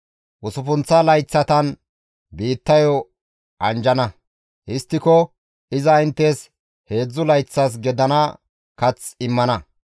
Usuppunththa layththatan biittayo anjjana; histtiko iza inttes heedzdzu layththas gidana kath immana.